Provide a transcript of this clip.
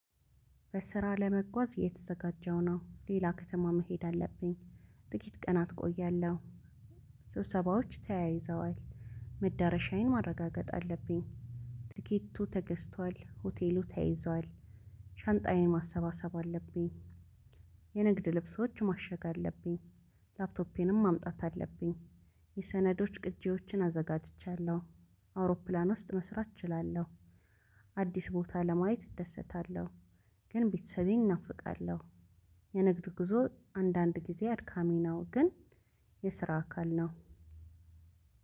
በስራ ለመጓዝ እየተዘጋጀው ነው ሌላ ከተማ መሄድ አለብኝ። ጥቂት ቀናት እቆያለሁ። ስብሰባዎች ተያይዘዋል። መዳረሻዬን ማረጋገጥ አለብኝ። ትኬቱ ተገዝቷል ሆቴሉ ተይዟል። ሻንጣዬን ማሰባሰብ አለብኝ። የንግድ ልብሶች ማሸግ አለብኝ። ላፕቶፔንም ማምጣት አለብኝ። የሰዶች ቅጅዎችን አዘጋጅቻለው። አውሮፕላን ውስጥ መስራት እችላለው። አዲስ ቦታ ለማየት እደሰታለሁ። ግን ቤተሰቤን እናፍቃለሁ። የንግድ ጉዞ አንዳንድ ጊዜ አድካሚ ነው። ግን የስራ አካል ነው።